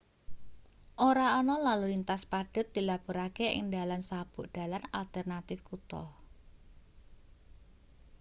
ora ana lalu lintas padhet dilapurake ing dalan sabuk dalan alternatif kutha